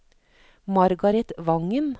Margareth Wangen